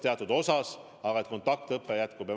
Teatud osas aga kontaktõpe jätkub.